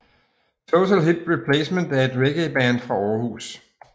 Total Hip Replacement er et reggaeband fra Aarhus